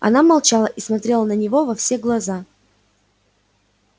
она молчала и смотрела на него во все глаза